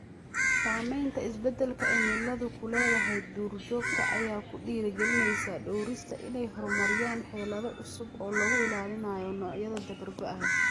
Saamaynta isbeddelka cimiladu ku leedahay duur-joogta ayaa ku dhiirigelinaysa dhawrista inay horumariyaan xeelado cusub oo lagu ilaalinayo noocyada dabar-go'aya.